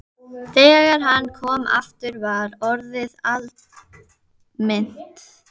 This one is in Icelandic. Þegar hann kom aftur var orðið aldimmt.